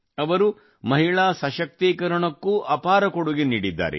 ಅವರು ಮಹಿಳಾ ಸಶಕ್ತೀಕರಣಕ್ಕೂ ಅಪಾರ ಕೊಡುಗೆ ನೀಡಿದ್ದಾರೆ